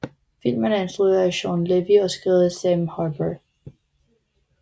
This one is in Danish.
Filmen er instrueret af Shawn Levy og skrevet af Sam Harper